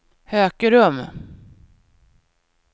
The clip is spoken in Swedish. Hökerum